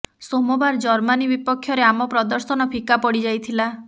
ସୋମବାର ଜର୍ମାନି ବିପକ୍ଷରେ ଆମ ପ୍ରଦର୍ଶନ ଫିକା ପଡ଼ି ଯାଇଥିଲା